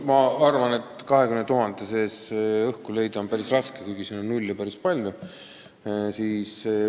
Ma arvan, et selle 20 000 seest on päris raske õhku leida, kuigi nulle on siin päris palju.